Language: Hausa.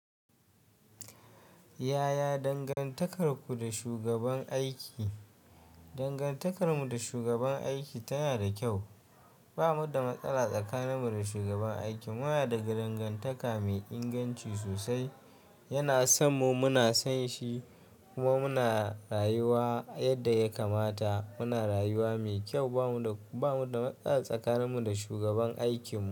Yaya dangantakarku da shugaban aiki? Dangantakarmu da shugaban aiki tana da kyau. Ba mu da matsala tsakaninmu da shugaban aiki. Muna da dangantaka mai inganci sosai. Yana son mu muna son shi kuma muna rayuwa yadda ya kamata. Muna rayuwa mai kyau. Ba mu da, ba mu da matsala tsakaninmu da shugaban aikinmu.